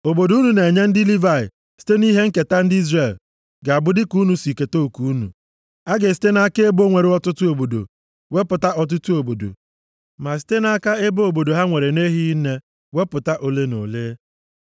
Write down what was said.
Obodo unu na-enye ndị Livayị site nʼihe nketa ndị Izrel ga-abụ dịka unu si keta oke unu. A ga-esite nʼaka ebo nwere ọtụtụ obodo wepụta ọtụtụ obodo, ma site nʼaka ebo obodo ha nwere na-ehighị nne wepụta ole na ole.”